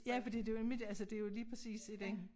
Ja fordi det jo nemlig det altså det jo lige præcis i den